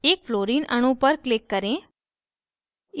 एक fluorine अणु पर click करें